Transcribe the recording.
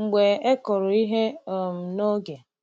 mgbe e kụrụ ihe um n’oge.